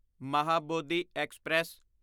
Mahabodhi express